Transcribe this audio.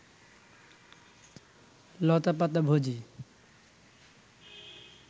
লতাপাতা ভোজী